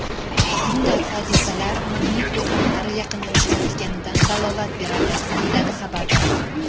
Bunday hodisalar magnit to‘fonlari yaqinlashayotganidan dalolat beradi, deyiladi xabarda.